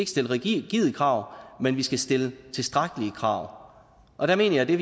stille rigide krav men vi skal stille tilstrækkelige krav og jeg mener at det